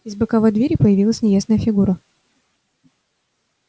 из боковой двери появилась неясная фигура